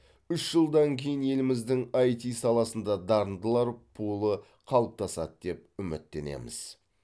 үш жылдан кейін еліміздің іт саласында дарындылар пулы қалыптасады деп үміттенеміз